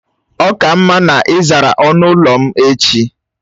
Ọ ka mma na ị zara ọnụ ụlọ m echi!